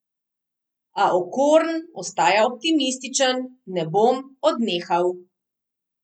A Okorn ostaja optimističen: "Ne bom odnehal.